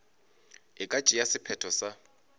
e ka tšea sephetho sa